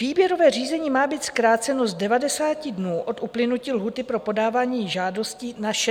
Výběrové řízení má být zkráceno z 90 dnů od uplynutí lhůty pro podávání žádosti na 60 dnů.